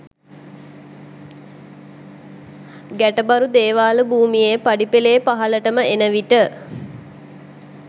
ගැටබරු දේවාල භූමියේ පඩිපෙළේ පහළටම එන විට